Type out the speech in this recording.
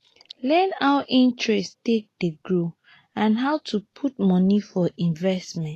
learn how interest take dey grow and how to put money for investment